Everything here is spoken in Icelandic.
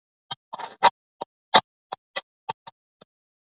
Kvöldið hafði einhvern veginn allt verið misheppnað, fannst Erni.